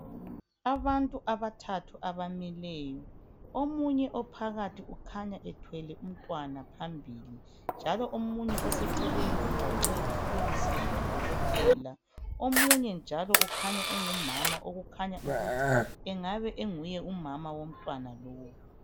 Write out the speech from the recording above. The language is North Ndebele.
Abantu abathathu abamileyo .Omunye ophakathi ukhanya ethwele umntwana phambili njalo omunye oseceleni ugaxe ithulusi yabodokotela omunye njalo ukhanya engumama okukhanya ukuthi engaba enguye umama womntwana lowo.